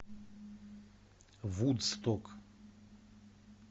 вудсток